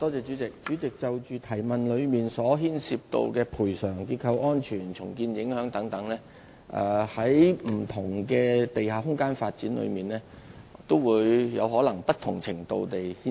主席，關於是項補充質詢所提及，牽涉到賠償、結構安全及重建影響等問題，在不同的地下空間發展中均可能會有不同程度的影響。